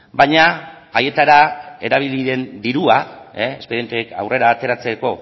baina haietara erabili den dirua espedienteak aurrera ateratzeko